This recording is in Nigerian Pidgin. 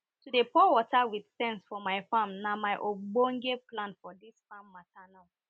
to dey pour water with sense for my farm na my ogbonge plan for dis farm mata now